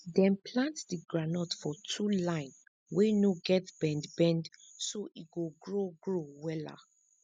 dem plant di groundnut for two line wey no get bend bend so e go grow grow wella